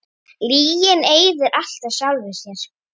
Lygin eyðir alltaf sjálfri sér.